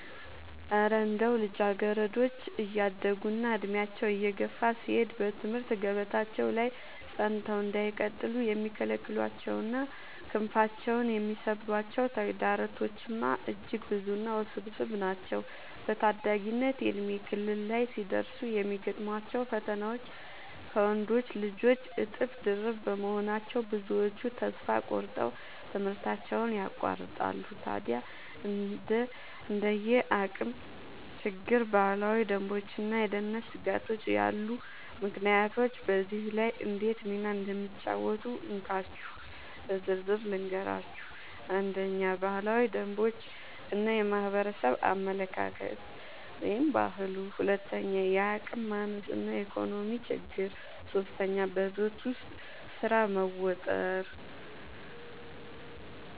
እረ እንደው ልጃገረዶች እያደጉና ዕድሜያቸው እየገፋ ሲሄድ በትምህርት ገበታቸው ላይ ጸንተው እንዳይቀጥሉ የሚከለክሏቸውና ክንፋቸውን የሚሰብሯቸው ተግዳሮቶችማ እጅግ ብዙና ውስብስብ ናቸው! በታዳጊነት የእድሜ ክልል ላይ ሲደርሱ የሚገጥሟቸው ፈተናዎች ከወንዶች ልጆች እጥፍ ድርብ በመሆናቸው፣ ብዙዎቹ ተስፋ ቆርጠው ትምህርታቸውን ያቋርጣሉ። ታዲያ እንደ የአቅም ችግር፣ ባህላዊ ደንቦችና የደህንነት ስጋቶች ያሉ ምክንያቶች በዚህ ላይ እንዴት ሚና እንደሚጫወቱ እንካችሁ በዝርዝር ልንገራችሁ፦ 1. ባህላዊ ደንቦች እና የማህበረሰብ አመለካከት (ባህሉ) 2. የአቅም ማነስ እና የኢኮኖሚ ችግር 3. በቤት ውስጥ ስራ መወጠር መወጠር